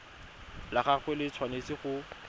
la gagwe le tshwanetse go